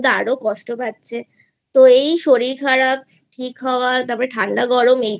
আরো কষ্ট পাচ্ছে তো এই শরীর খারাপ ঠিক হওয়া তারপর ঠান্ডা গরম